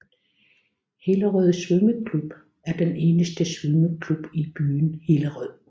Hillerød Svømmeklub er den eneste svømmeklub i byen Hillerød